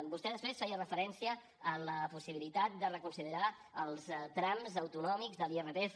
vostè després feia referència a la possibilitat de reconsiderar els trams autonòmics de l’irpf